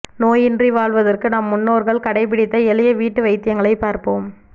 நோயின்றி வாழ்வதற்கு நம் முன்னோர்கள் கடைப்பிடித்த எளிய வீட்டு வைத்தியங்களை பார்ப்போம்